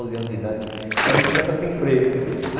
Dez, onze anos de Tinha uma bicicleta sem freio.